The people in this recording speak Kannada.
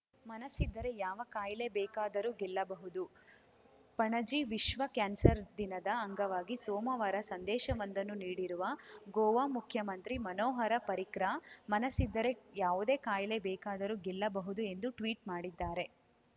ಮನಸ್ಸಿದ್ದರೆ ಯಾವ ಕಾಯಿಲೆ ಬೇಕಾದರೂ ಗೆಲ್ಲಬಹುದು ಪಣಜಿ ವಿಶ್ವ ಕ್ಯಾನ್ಸರ್‌ ದಿನದ ಅಂಗವಾಗಿ ಸೋಮವಾರ ಸಂದೇಶವೊಂದನ್ನು ನೀಡಿರುವ ಗೋವಾ ಮುಖ್ಯಮಂತ್ರಿ ಮನೋಹರ ಪರಿಕ್ರಾ ಮನಸ್ಸಿದ್ದರೆ ಯಾವುದೇ ಕಾಯಿಲೆ ಬೇಕಾದರೂ ಗೆಲ್ಲಬಹುದು ಎಂದು ಟ್ವೀಟ್‌ ಮಾಡಿದ್ದಾರೆ